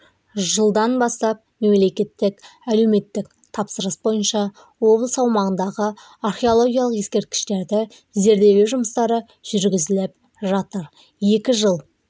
жылдан бастап мемлекеттік әлеуметтік тапсырыс бойынша облыс аумағындағы археологиялық ескерткіштерді зерделеу жұмыстары жүргізіліп жатыр екі жыл